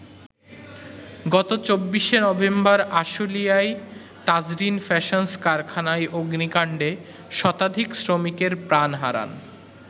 গত ২৪শে নভেম্বর আশুলিয়ায় তাজরীন ফ্যাশনস কারখানায় অগ্নিকাণ্ডে শতাধিক শ্রমিকের প্রাণ হারান।